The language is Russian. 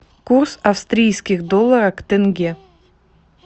курс австрийских доллара к тенге